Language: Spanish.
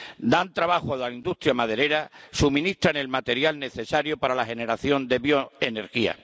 Dan trabajo a la industria maderera y suministran el material necesario para la generación de bioenergía.